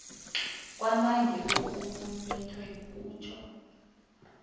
kwanange okumumethweko kutjho